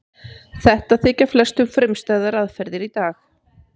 Þetta þykja flestum frumstæðar aðferðir í dag.